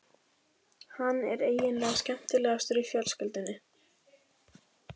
Hann er eiginlega skemmtilegastur í fjölskyldunni.